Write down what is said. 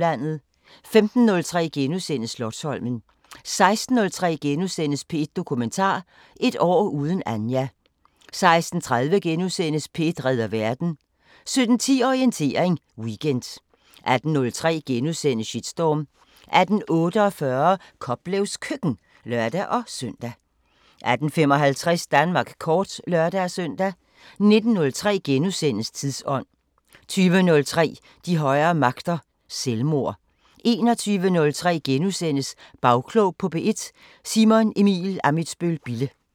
15:03: Slotsholmen * 16:03: P1 Dokumentar: Et år uden Anja * 16:30: P1 redder verden * 17:10: Orientering Weekend 18:03: Shitstorm * 18:48: Koplevs Køkken (lør-søn) 18:55: Danmark kort (lør-søn) 19:03: Tidsånd * 20:03: De højere magter: Selvmord 21:03: Bagklog på P1: Simon Emil Ammitzbøl-Bille *